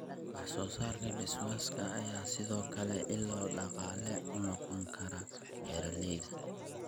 Wax-soo-saarka Beeswax-ka ayaa sidoo kale ilo dhaqaale u noqon kara beeralayda.